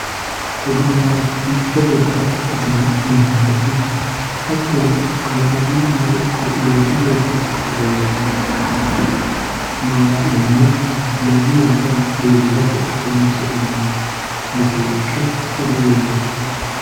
Oodo ya mitte gobara ikitino mashalaqe hatono kalaqamunino iko manchi betti loosinoricho malaalinayari manu maca ikishate horonsinanni mashalaqe oddo yinanni